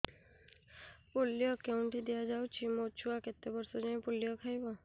polio କେଉଁଠି ଦିଆଯାଉଛି ମୋ ଛୁଆ କେତେ ବର୍ଷ ଯାଏଁ ପୋଲିଓ ଖାଇବ